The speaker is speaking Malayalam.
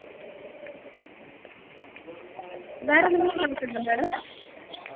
വേറെന്തെങ്കിലും doubt ഉണ്ടോ madam